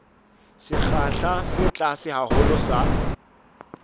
sekgahla se tlase haholo sa